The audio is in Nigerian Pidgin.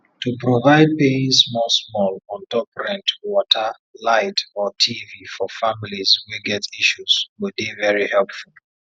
to provide paying small small on top rent water light or tv for families wey get issues go dey very helpful